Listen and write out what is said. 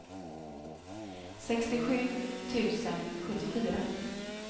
sextiosju tusen sjuttiofyra